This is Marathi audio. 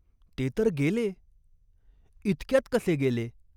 "ते तर गेले." "इतक्यात कसे गेले ?